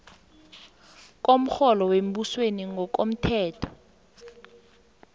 komrholo wembusweni ngokomthetho